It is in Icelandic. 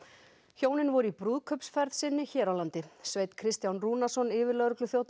hjónin voru í brúðkaupsferð sinni hér á landi Sveinn Kristján Rúnarsson yfirlögregluþjónn